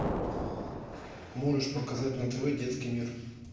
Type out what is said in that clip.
можешь показать на тв детский мир